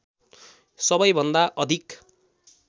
सबै भन्दा अधिक